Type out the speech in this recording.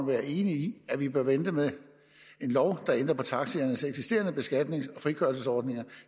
være enig i at vi bør vente med en lov der ændrer på taxiernes eksisterende beskatnings og frikørselsordninger